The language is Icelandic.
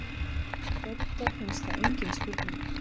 Dodda finnst það engin spurning.